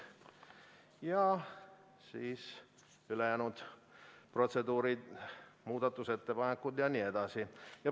Ja siis tulevad ülejäänud protseduurid, muudatusettepanekud jne.